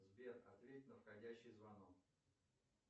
сбер ответь на входящий звонок